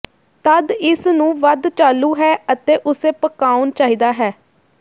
ਤਦ ਇਸ ਨੂੰ ਵੱਧ ਚਾਲੂ ਹੈ ਅਤੇ ਉਸੇ ਪਕਾਉਣ ਚਾਹੀਦਾ ਹੈ